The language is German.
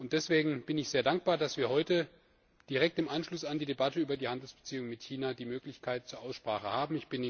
Deswegen bin ich sehr dankbar, dass wir heute direkt im Anschluss an die Debatte über die Handelsbeziehungen mit China die Möglichkeit zur Aussprache haben.